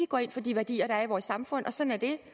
går ind for de værdier der er i vores samfund og sådan er det